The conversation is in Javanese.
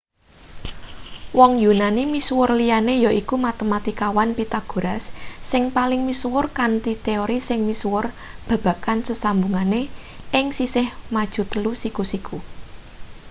wong yunani misuwur liyane yaiku matematikawan pythagoras sing paling misuwur kanthi teori sing misuwur babagan sesambungane ing sisih maju telu siku-siku